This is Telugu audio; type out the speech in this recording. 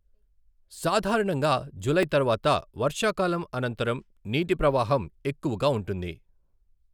సాధారణంగా జులై తర్వాత వర్షాకాలం అనంతరం నీటి ప్రవాహం ఎక్కువగా ఉంటుంది.